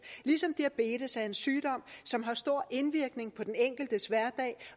ligesom diabetes er en sygdom som har stor indvirkning på den enkeltes hverdag